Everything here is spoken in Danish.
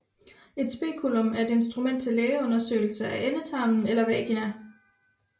Et speculum er et instrument til lægeundersøgelse af endetarmen eller vagina